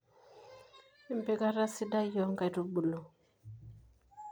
empikata sidai oonkaitubulu